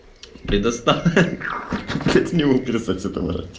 предоста ха-ха-ха блять не умер с этого орать